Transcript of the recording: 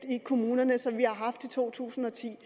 i kommunerne i to tusind og ti